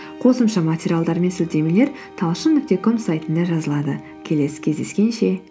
қосымша материалдар мен сілтемелер талшын нүкте ком сайтында жазылады келесі кездескенше